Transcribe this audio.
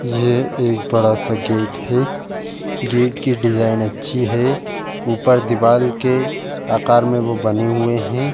ये एक बड़ा सा गेट है। गेट के डिजाइन अच्छी है ऊपर दीवाल के आकार में बो बने हुये हैं।